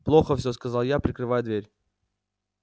плохо всё сказал я прикрывая дверь